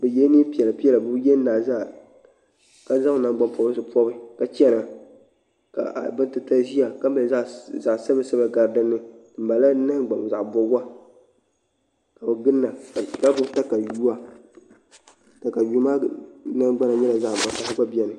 bɛ yɛla neepiɛlapiɛla bi yɛn naazaa ka zan naŋgbanpɔbirisipɔbi ka chana ka abatitaliziya kamali zaɣ'sabila sabila ka zaɣ'sabilasabila gari din ni bɛ mala nahangbaŋ nɔbiga kadi ginda ka gbibi takayuwa taka yuumaa nahangbana nyɛla zaɣ' vakahali